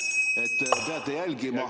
Hea küsija, teie aeg!